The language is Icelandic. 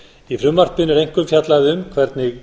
í frumvarpinu er einkum fjallað um hvernig